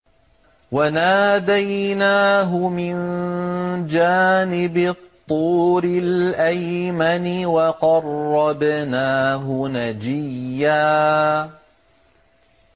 وَنَادَيْنَاهُ مِن جَانِبِ الطُّورِ الْأَيْمَنِ وَقَرَّبْنَاهُ نَجِيًّا